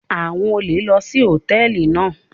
Àwọn olè lò sí Hòtẹ́lìì náà.